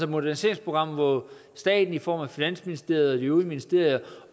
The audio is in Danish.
moderniseringsprogram hvor staten i form af finansministeriet og de øvrige ministerier